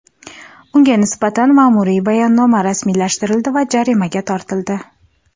Unga nisbatan ma’muriy bayonnoma rasmiylashtirildi va jarimaga tortildi.